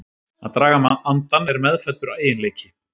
Að draga andann er meðfæddur eiginleiki.